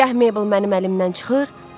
Gah Meybl mənim əlimdən çıxır,